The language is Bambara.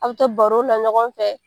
A' bi to baro la ɲɔgɔn fɛ.